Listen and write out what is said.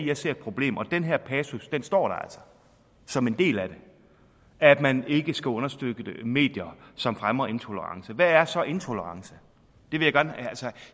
jeg ser et problem og den her passus står der altså som en del af det at man ikke skal understøtte medier som fremmer intolerance hvad er så intolerance altså